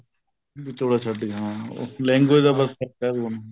ਵੀ ਚੋਲਾ ਛੱਡ ਹਾਂ language ਦਾ ਬੱਸ ਫ਼ਰਕ ਹੈ ਉਹ